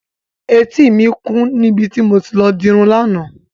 Etí mi kún níbi tí mo ti lọ dirun lánàá.